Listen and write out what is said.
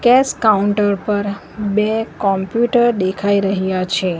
Cache counter પર બે computer દેખાઈ રહ્યા છે.